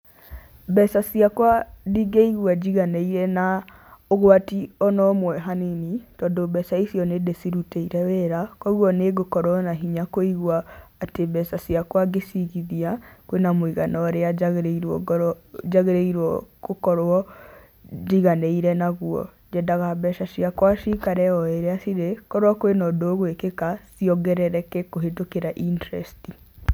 Mbeca ciakwa ndingĩigua njiganĩire na ũgwati ona ũmwe hanini, tondũ mbeca icio nĩndĩcirutĩire wĩra, kuoguo nĩngũkorwo na hinya kũigua atĩ mebca ciakwa ngĩcigithia, kwĩna mũigana ũrĩa njagĩrĩirwo ngorwo njagĩrĩirwo gũkorwo njiganĩire naguo. Nyendaga mbeca ciakwa cikare o ĩrĩa cirĩ, korwo kwĩna ũndũ ũgwĩkĩka, ciongerereke kũhĩtũkĩra interest i.